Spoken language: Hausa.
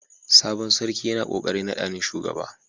Sabon sarki yana kokarin nada ni shugaba.